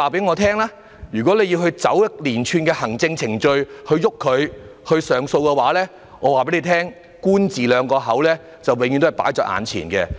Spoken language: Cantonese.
要他們循一連串的行政程序提出上訴的話，我可以告訴局方，結果就是"官字兩個口